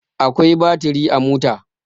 Akwai baturi a mota.